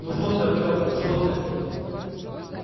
ну что ты артёмка что ты